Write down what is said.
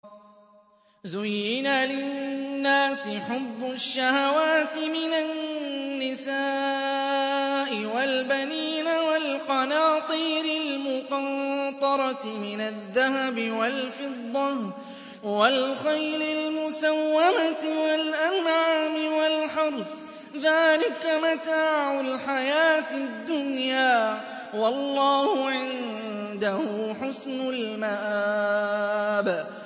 زُيِّنَ لِلنَّاسِ حُبُّ الشَّهَوَاتِ مِنَ النِّسَاءِ وَالْبَنِينَ وَالْقَنَاطِيرِ الْمُقَنطَرَةِ مِنَ الذَّهَبِ وَالْفِضَّةِ وَالْخَيْلِ الْمُسَوَّمَةِ وَالْأَنْعَامِ وَالْحَرْثِ ۗ ذَٰلِكَ مَتَاعُ الْحَيَاةِ الدُّنْيَا ۖ وَاللَّهُ عِندَهُ حُسْنُ الْمَآبِ